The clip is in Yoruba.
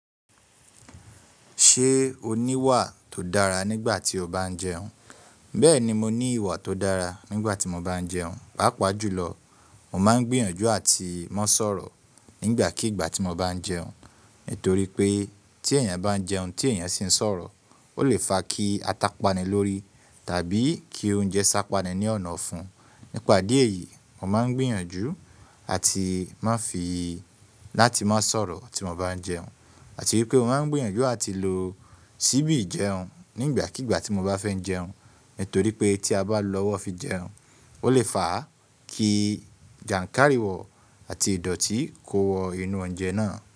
Ṣé o ní ìwà tó dára nígbà tí o bá ń jẹun? Bẹ́ẹ̀ni mo ní ìwà tó dára nígbà tí mo bá ń jẹun. Pápá jùlọ, mo máa ń gbìyànjú àti má sọ̀rọ̀ nígbàkigbà tí mo bá ń jẹun. Nítorí pé tí èèyàn bá ń jẹun tí èèyàn sì ń sọ̀rọ̀, ó lè fa kí ata pani lórí tàbí kí oúnjẹ sápa ni ní ọ̀nàfún un. Nípa idi eyí, mo máa ń gbìyànjú àti máa fi ì láti má sọ̀rọ̀ tí mo bá ń jẹun. Àti wípé mo máa ń gbìyànjú àti lò ṣíbì jẹun nígbàkigbà tí mo bá fẹ́ jẹun. Nítorí pé tí a bá lọ́wọ́ fi jẹun, ó lè fa kí jànkárìwọ̀ àti ìdọ̀tí kó wọ inú oúnjẹ náà.